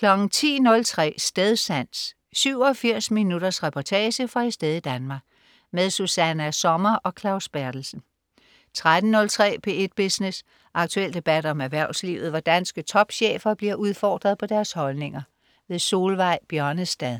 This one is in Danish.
10.03 Stedsans. 87 minutters reportage fra et sted i Danmark. Susanna Sommer og Claus Berthelsen 13.03 P1 Business. Aktuel debat om erhvervslivet, hvor danske topchefer bliver udfordret på deres holdninger. Solveig Bjørnestad